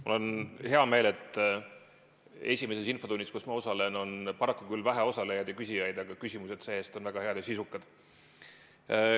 Mul on hea meel, et esimeses infotunnis, kus ma osalen, on paraku küll vähe osalejaid ja küsijaid, aga küsimused on see-eest väga head ja sisukad.